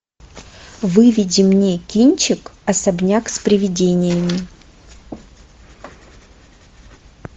выведи мне кинчик особняк с привидениями